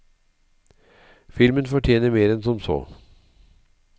Filmen fortjener mer enn som så.